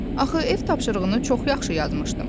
Axı ev tapşırığını çox yaxşı yazmışdım.